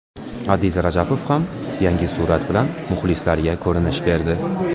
Adiz Rajabov ham yangi surat bilan muxlislariga ko‘rinish berdi.